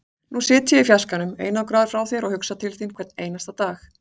Nú sit ég í fjarskanum, einangraður frá þér, og hugsa til þín hvern einasta dag.